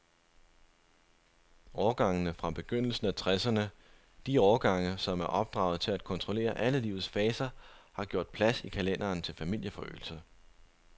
Årgangene fra begyndelsen af tresserne, de årgange, som er opdraget til at kontrollere alle livets faser, har gjort plads i kalenderen til familieforøgelse.